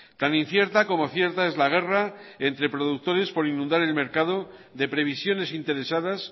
tan incierta como cierta es la guerra entre productores por inundar el mercado de previsiones interesadas